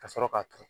Ka sɔrɔ k'a turu